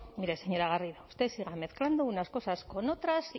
mire señora garrido usted siga mezclando unas cosas con otras